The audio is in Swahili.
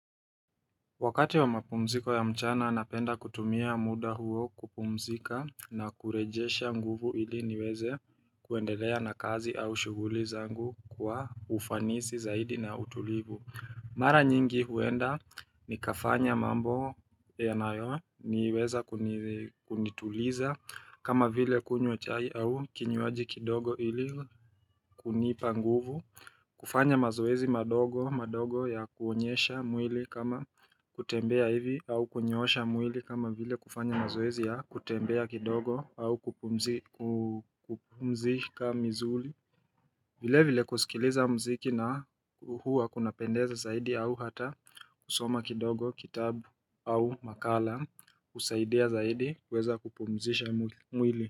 Wakati wa mapumziko ya mchana anapenda kutumia mda huo kupumzika na kurejesha nguvu ili niweze kuendelea na kazi au shughuli zangu kwa ufanisi zaidi na utulivu. Mara nyingi huenda nikafanya mambo yanayo niweza kuniiituliza kama vile kunywa chai au kinywaji kidogo ili kunipa nguvu kufanya mazoezi madogo madogo ya kuonyesha mwili kama kutembea hivi au kunyoosha mwili kama vile kufanya mazoezi ya kutembea kidogo au kupumzi kuuu kupumzika mizuli vile vile kusikiliza mziki na uhua kunapendeza zaidi au hata kusoma kidogo kitabu au makala kusaidia zaidi kweza kupumzisha mwili.